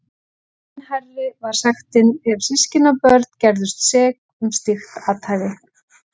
Enn hærri var sektin ef systkinabörn gerðust sek um slíkt athæfi.